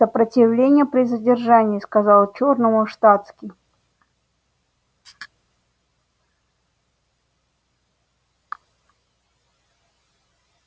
сопротивление при задержании сказал чёрному штатский